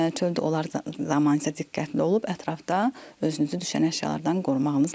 Çöldə olar zaman isə diqqətli olub ətrafda özünüzü düşən əşyalardan qorumağınız lazımdır.